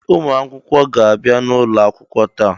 Ee! Ụmụ akwụkwọ ga-abịa n'ụlọ akwụkwọ taa.